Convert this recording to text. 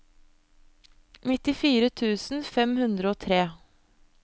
nittifire tusen fem hundre og tre